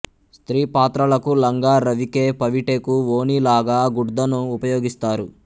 స్త్రీ పాత్రలకు లంగా రవికె పవిటెకు ఓణీ లాగా గుడ్దను ఉపయోగిస్తారు